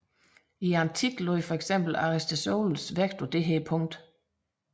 I antikken lagde for eksempel Aristoteles vægt på dette punkt